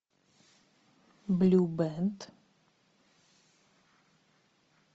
блю бэнд